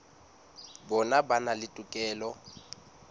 bona ba na le tokelo